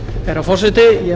herra forseti ég